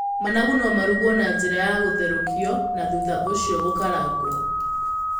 Managu no marugwo na njĩra ya gũtherũkio na thutha ũcio gũkarangwo.